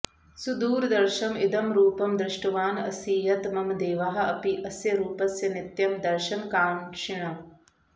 सुदुर्दर्शम् इदं रूपं दृष्टवान् असि यत् मम देवाः अपि अस्य रूपस्य नित्यं दर्शनकाङ्क्षिणः